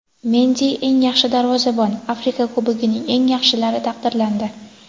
Mendi eng yaxshi darvozabon – Afrika Kubogining eng yaxshilari taqdirlandi.